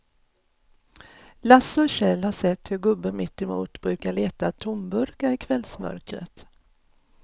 Lasse och Kjell har sett hur gubben mittemot brukar leta tomburkar i kvällsmörkret.